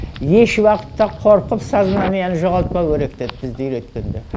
еш уақытта қорқып сознаниені жоғалтпау керек деді бізді үйреткенде